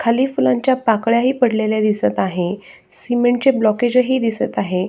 खाली फुलांच्या पाकळ्या ही पडलेल्या दिसत आहे सीमेंटचे ब्लॉकेजही दिसत आहे.